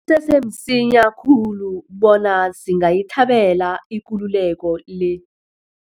sese msinya khulu bona singayithabela ikululeko le.